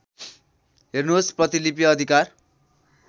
हेर्नुहोस् प्रतिलिपि अधिकार